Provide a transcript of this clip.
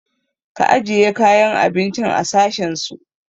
Ka ajiye kayan abincin a sashen su!